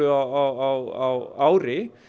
á ári